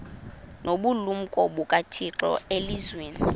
nobulumko bukathixo elizwini